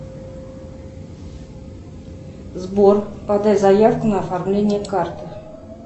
сбор подай заявку на оформление карты